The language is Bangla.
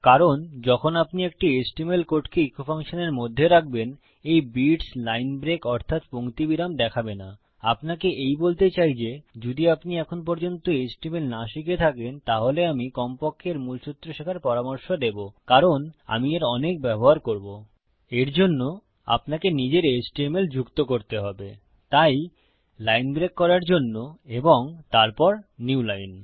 কারণ যখন আপনি একটি এচটিএমএল কোডকে ইকো ফাংশনের মধ্যে রাখবেন এই বিটস লাইন ব্রেক অর্থাত পঙ্ক্তি বিরাম দেখাবে না আপনাকে এই বলতে চাই যে যদি আপনি এখন পর্যন্ত এচটিএমএল না শিখে থাকেন তাহলে আমি কমপক্ষে এর মুলসুত্র শেখার পরামর্শ দেবো কারণ আমি এর অনেক ব্যবহার করবো এর জন্য আপনাকে নিজের এচটিএমএল যুক্ত করতে হবে তাই লাইন ব্রেক এর জন্য এবং তারপর নিউ লাইন